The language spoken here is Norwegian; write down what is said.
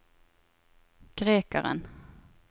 grekeren